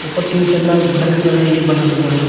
ऊपर तीन तल्ला घर भी बनाया बना हुआ है।